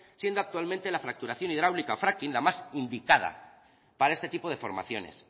siendo actualmente la fracturación hidráulica fracking la más indicada para este tipo de formaciones